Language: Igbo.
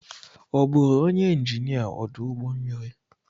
Ọ bụụrụ onye injinia ọdụ ụgbọ mmiri?